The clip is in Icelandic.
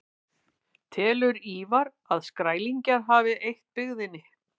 Telur Ívar að Skrælingjar hafi eytt byggðina.